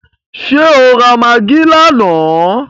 Ṣé o ra magí lánàá?